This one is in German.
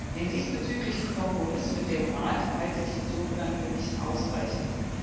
Den diesbezüglichen Kompromiss mit dem Rat halte ich insofern für nicht ausreichend.